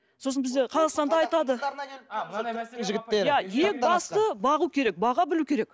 сосын бізде қазақстанда айтады ең басты бағу керек баға білу керек